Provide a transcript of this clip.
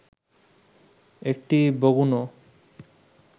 একটি বগুণো